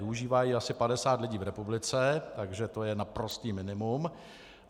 Využívá ji asi 50 lidí v republice, takže to je naprosté minimum.